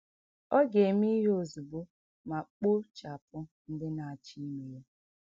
Ọ ga - eme ihe ozugbo ma kpochapụ ndị na - achọ ime ya.